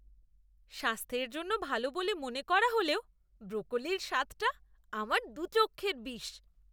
স্বাস্থ্যের জন্য ভালো বলে মনে করা হলেও ব্রকোলির স্বাদটা আমার দু'চক্ষের বিষ।